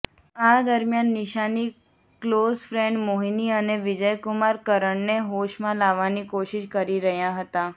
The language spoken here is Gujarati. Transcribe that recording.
આ દરમિયાન નિશાની ક્લોઝ ફ્રેન્ડ મોહિની અને વિજયકુમાર કરણને હોશમાં લાવવાની કોશિશ કરી રહ્યાં હતાં